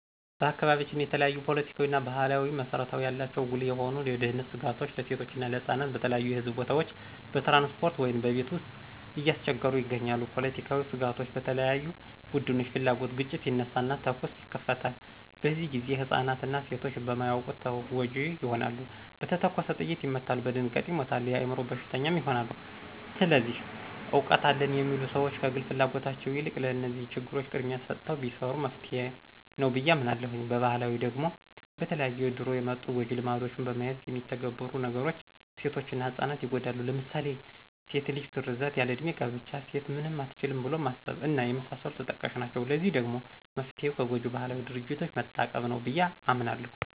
በአካባቢያችን የተለያዪ ፖለቲካዊና ባህላዊ መሰረት ያላቸው ጉልህ የሆኑ የደህንነት ስጋቶች ለሴቶችና ለህጻናት በተለያዩ የህዝብ ቦታዎች፣ በትራንስፖርት ውይም በቤት ውስጥ እያስቸገሩ ይገኛሉ። ፖለቲካዊ ስጋቶች በተለያዩ ቡድኖች ፍላጉት ግጭት ይነሳና ተኩስ ይከፈታል፤ በዚህ ግዜ ህፃናትና ሴቶች በማያዉቁት ተጎጅ ይሆናሉ፣ በተተኮሰ ጥይት ይመታሉ፣ በድንጋጤ ይሞታሉ፣ የአይምሮ በሽተኛም ይሆናሉ። ስለዚህ እውቀት አለን የሚሉ ሰዎች ከግል ፍላጎታቸው የልቅ ለነዚህ ችግሮች ቅድሚያ ሰተው ቢሰሩ መፍትሄ ነዉ ብየ አምናለሁ። በባህላዊ ደግሞ በተለያዩ ከድሮ የመጡ ጎጅ ልማዶችን በመያዝ የሚተገበሩ ነገሮች ሴቶችና ህጻናት ይጎዳሉ ለምሳሌ ድስት ልጅ ግርዛት፣ ያል ለዕድሜ ጋብቻ፣ ሴት ምንም አትችልም ብሎ ማሰብ እና የመሳሰሉት ተጠቃሽ ናቸው። ለዚህ ደግሞ መፍትሄው ከጎጅ ባህላዊ ድርጊቶች መታቀብ ነው ብየ አምናለሁ።